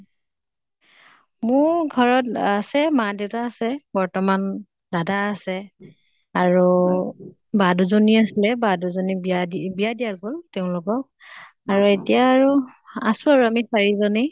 মোৰ ঘৰত আছে, মা দেইতা আছে বৰ্তমান দাদা আছে। আৰু বা দুজনী আছিলে, বা দুজনীক বিয়া দি বিয়া দিয়া গʼল তেওঁলোকক। আৰু এতিয়া আৰু আছো আৰু আমি চাৰি জনে